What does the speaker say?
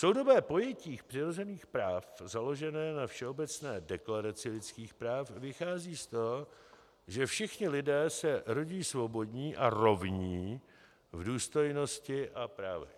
Soudobé pojetí přirozených práv založené na Všeobecné deklaraci lidských práv vychází z toho, že všichni lidé se rodí svobodní a rovní v důstojnosti a právech.